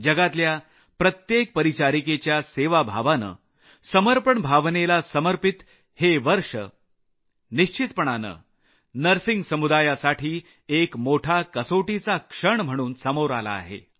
जगातल्या प्रत्येक परिचारिकेच्या सेवाभावानं समर्पणभावनेला समर्पित हे वर्ष निश्चितपणानं नर्सिंग समुदायासाठी एक मोठा कसोटीचा काळ म्हणून समोर आला आहे